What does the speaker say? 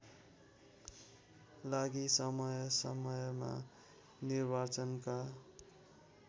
लागि समयसमयमा निर्वाचनका